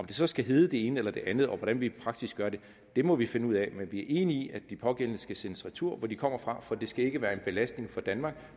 det så skal hedde det ene eller den andet og hvordan vi praktisk gør det må vi finde ud af men vi er enige i at de pågældende skal sendes retur hvor de kommer fra for det skal ikke være en belastning for danmark